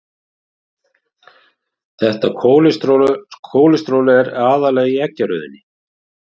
Þetta kólesteról er aðallega í eggjarauðunni.